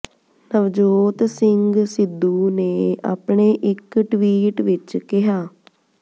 ਨਵਜੋਤ ਸਿੰਘ ਸਿੱਧੂ ਨੇ ਆਪਣੇ ਇੱਕ ਟਵੀਟ ਵਿੱਚ ਕਿਹਾ